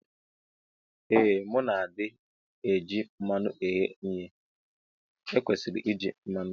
Ee mu na adi eji mmanu eghe ihe ekwesiri iji mmanu.